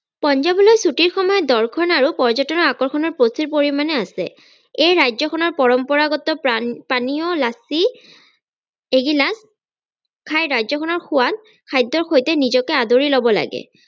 পঞ্জাৱলৈ ছুটিৰ সময়ত দৰ্শন আৰু পৰ্যতনৰ আকৰ্ষণও প্ৰচুৰ পৰিমানে আছে এই ৰাজ্যখনৰ পৰম্পৰাগত প্ৰান পানীয় লচ্চি এগিলাস খাই ৰাজ্যখনৰ সোৱাদ খাদ্যৰ সৈতে নিজকে আদৰি লব লাগে।